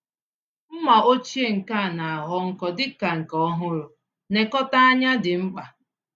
Mma ochie nkea na-aghọ nkọ dịka nke ọhụrụ -nekọta ányá dị mkpa.